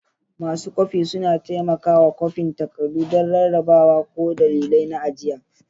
Masu kwafi suna taimakawa kwafin takardu don rarrabawa ko dalilai na ajiya.